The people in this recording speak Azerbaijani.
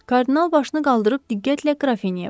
Kardinal başını qaldırıb diqqətlə Qrafinyaya baxdı.